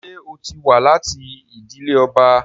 Ṣé ó ti wá láti ìdílé ọba?